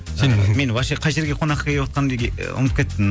сен мені вообще қай жерге қонаққа кеватқанымды ұмытып кеттің